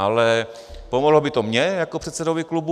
Ale pomohlo by to mně jako předsedovi klubu.